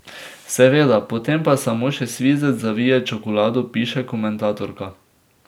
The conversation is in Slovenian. Seveda, potem pa samo še svizec zavije čokolado, piše komentatorka.